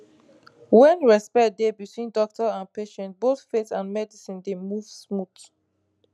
when respect dey between doctor and patient both faith and medicine dey move smooth